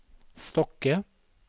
Stokke